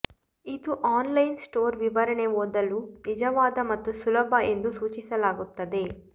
ಇದು online store ವಿವರಣೆ ಓದಲು ನಿಜವಾದ ಮತ್ತು ಸುಲಭ ಎಂದು ಸೂಚಿಸಲಾಗುತ್ತದೆ